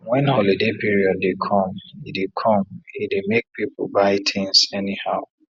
when holiday period dey come e dey come e dey make pipu buy things anyhow